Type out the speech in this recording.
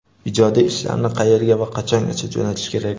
Ijodiy ishlarni qayerga va qachongacha jo‘natish kerak?.